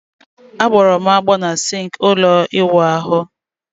A gboro m agbo na sinki ulo iwu ahu